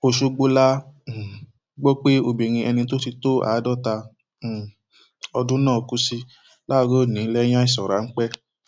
ọṣọgbó la um gbọ pé obìnrin ẹni tó ti tó àádọta um ọdún náà kú sí láàárọ ọnì lẹyìn àìsàn ráńpẹ